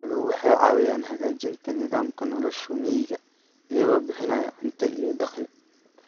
Xooluhu waxay caawiyaan hagaajinta nidaamka nolosha miyiga iyagoo bixinaya cunto iyo dakhli.